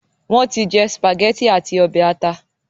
wón ti jé spaghetti ati obe ata